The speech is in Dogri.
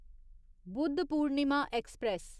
बुधपूर्णिमा एक्सप्रेस